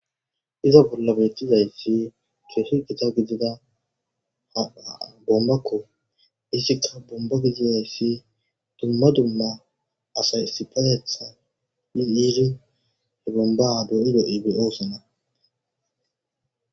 Iza bolla bettizayssi chuesi qita gidida ha boommakko issikka bomba gidiyayssi dumma dumma asay sipaayetha min iirin he bombaa dooido iibi oosana.